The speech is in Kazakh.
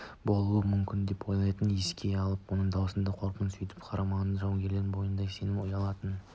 болуы мүмкін деп ойлайтынын еске алып оның даусындағы қорқынышты сейілтіп қарамағындағы жауынгерлердің бойына сенім ұялататын